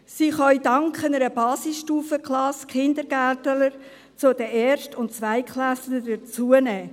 Sie können dank einer Basisstufenklasse Kindergärtner zu den Erst- und Zweitklässlern hinzunehmen.